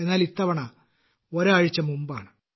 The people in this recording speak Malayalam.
എന്നാൽ ഇത്തവണ ഒരാഴ്ച മുമ്പാണ്